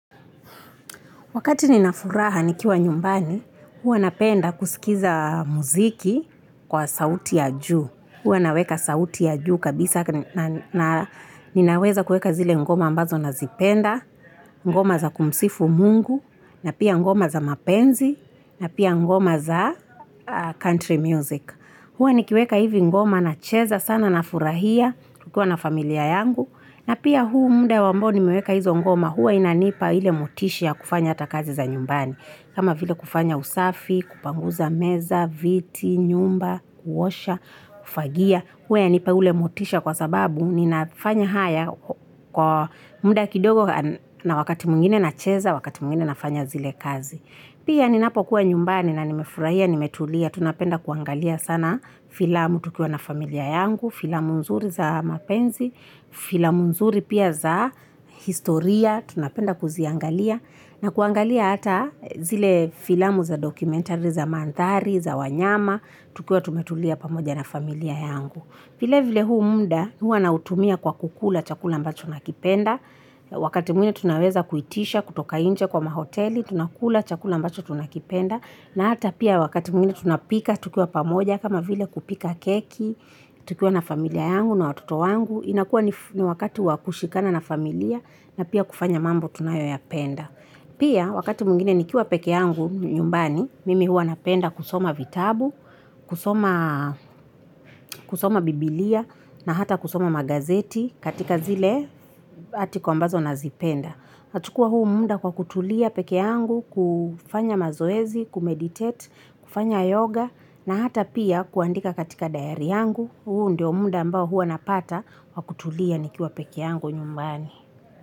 Wakati ninafuraha nikiwa nyumbani, hua napenda kusikiza muziki kwa sauti ya juu. Hua naweka sauti ya juu kabisa. Ninaweza kueka zile ngoma ambazo nazipenda, ngoma za kumsifu mungu, na pia ngoma za mapenzi, na pia ngoma za country music. Hua nikiweka hivi ngoma na cheza sana na furahia kukua na familia yangu. Na pia huu mda waambao nimeweka hizo ngoma huwa inanipa hile mutishia kufanya atakazi za nyumbani. Kama vile kufanya usafi, kupanguza meza, viti, nyumba, kuhosha, kufagia. Hwe anipa hile mutishia kwa sababu ninafanya haya kwa mda kidogo na wakati mwingine na cheza, wakati mungine nafanya zile kazi. Pia ninapo kuwa nyumbani na nimefuraia, nimetulia. Tunapenda kuangalia sana filamu tukiwa na familia yangu, filamu nzuri za mapenzi, filamu nzuri pia za historia, tunapenda kuziangalia, na kuangalia hata zile filamu za dokumentari za mandhari, za wanyama, tukiwa tumetulia pamoja na familia yangu. Vile vile hu mda hua nautumia kwa kukula chakula ambacho nakipenda, wakati mwingine tunaweza kuitisha, kutoka nje kwa mahoteli, tunakula chakula ambacho tunakipenda, na hata pia wakati mwine tunapika tukua pamoja kama vile kupika keki, tukua na familia yangu na watoto yangu, inakua ni wakati wakushikana na familia na pia kufanya mambo tunayo ya penda. Pia wakati mwingine nikiwa peke yangu nyumbani, mimi hua napenda kusoma vitabu, kusoma biblia na hata kusoma magazeti katika zile atikombazo nazipenda. Nachukua huu mda kwa kutulia peke yangu, kufanya mazoezi, kumeditate, kufanya yoga na hata pia kuandika katika dayari yangu, huu ndio mda ambao hua napata kwa kutulia nikiwa peke yangu nyumbani.